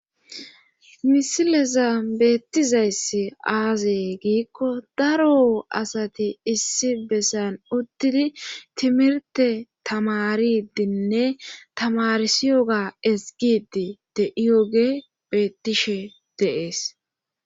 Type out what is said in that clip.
misileza beettizayss aazee giikko daro asati issi bessan uttidi timirte tamaridinne tamarsiyo ga esgidi de7iyoge beettishe deees